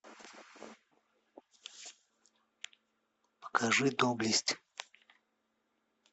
покажи доблесть